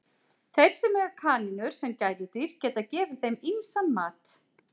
Þeir sem eiga kanínur sem gæludýr geta gefið þeim ýmsan mat.